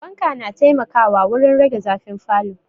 Fanka na taimakawa wurin rage zafin falo